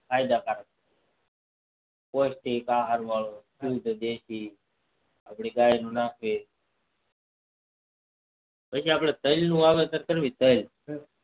ફાયદા કાર પ્રોસ્તિક આહાર વાળું જેમ કે દેસ આપડે ગાય ને નાખી જેમકે કે આપડે તલ નું વાવેતર કરીએ તલ